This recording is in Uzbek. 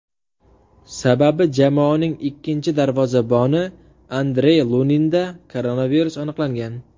Sababi jamoaning ikkinchi darvozaboni Andrey Luninda koronavirus aniqlangan.